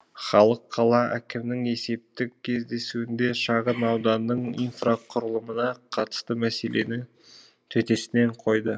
халық қала әкімнің есептік кездесуінде шағын ауданның инфрақұрылымына қатысты мәселені төтесінен қойды